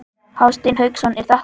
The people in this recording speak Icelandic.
Hafsteinn Hauksson: Er þetta gaman?